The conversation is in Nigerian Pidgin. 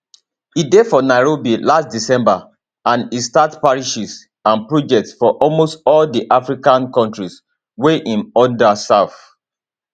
e dey for nairobi last december and e start parishes and projects for almost all di african kontris wia im order serve